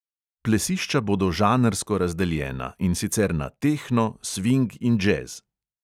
Plesišča bodo žanrsko razdeljena, in sicer na tehno, sving in džez.